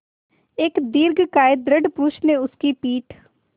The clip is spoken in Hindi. एक दीर्घकाय दृढ़ पुरूष ने उसकी पीठ